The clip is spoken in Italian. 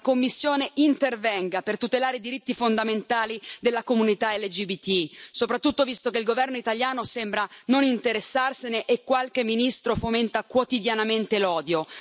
La Commissione intervenga per tutelare i diritti fondamentali della comunità LGBTI, soprattutto visto che il governo italiano sembra non interessarsene e qualche ministro fomenta quotidianamente l'odio.